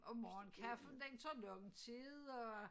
Og morgenkaffen den tager lang tid og